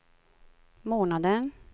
månaden